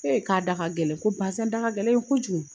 E k'a da ka gɛlɛn ko bazɛn da ka gɛlɛn yen kojugu